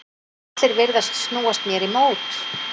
Allir virðast snúast mér í mót.